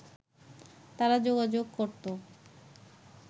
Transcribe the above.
তারা যোগাযোগ করত